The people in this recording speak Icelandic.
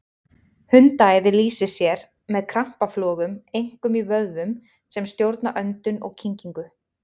Hundaæði lýsir sér með krampaflogum, einkum í vöðvum sem stjórna öndun og kyngingu.